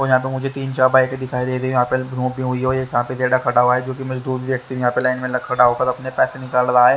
यह पे मुझे तीन चार बाइके दिखाई दे रही है। व्यक्ति यहां पे लाइन में खड़ा होकर अपने पैसे निकाल रहा है।